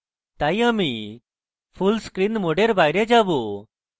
তাই আমি full screen mode বাইরে যাবো